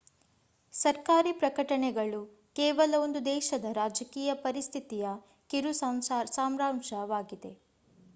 ಸರ್ಕಾರಿ ಪ್ರಕಟಣೆಗಳು ಕೇವಲ ಒಂದು ದೇಶದ ರಾಜಕೀಯ ಪರಿಸ್ಥಿತಿಯ ಕಿರು ಸಾರಾಂಶವಾಗಿವೆ